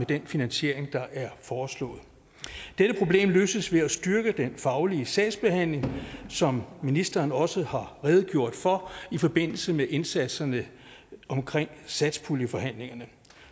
den finansiering der er foreslået dette problem løses ved at styrke den faglige sagsbehandling som ministeren også har redegjort for i forbindelse med indsatserne omkring satspuljeforhandlingerne